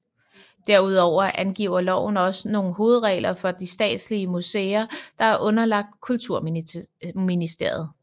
Derudover angiver loven også nogle hovedregler for de statslige museer der er underlagt Kulturministeriet